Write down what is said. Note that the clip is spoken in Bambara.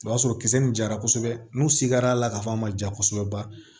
O y'a sɔrɔ kisɛ nin jara kosɛbɛ n'u se kɛra a la ka fɔ an ma ja kosɛbɛ ba